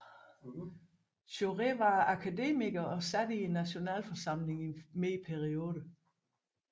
Jaurès var akademiker og sad i nationalforsamlingen i flere perioder